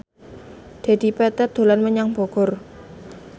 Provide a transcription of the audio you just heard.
Dedi Petet dolan menyang Bogor